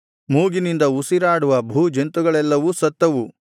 ಮೂಗಿನಿಂದ ಉಸಿರಾಡುವ ಭೂಜಂತುಗಳೆಲ್ಲವೂ ಸತ್ತವು